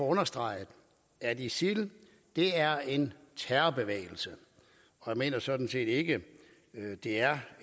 understrege at isil er en terrorbevægelse jeg mener sådan set ikke det er